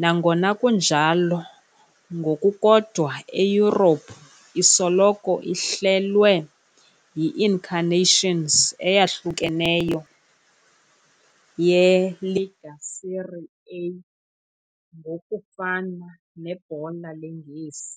nangona kunjalo, ngokukodwa eYurophu, isoloko ihlelwe yi-incarnations eyahlukeneyo ye- Lega Serie A, ngokufana neBhola leNgesi.